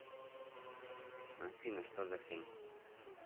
афина что за хрень